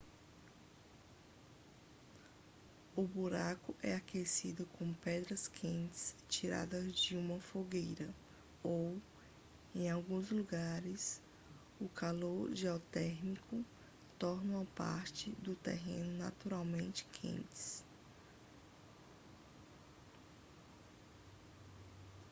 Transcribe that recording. o buraco é aquecido com pedras quentes tiradas de uma fogueira ou em alguns lugares o calor geotérmico torna partes do terreno naturalmente quentes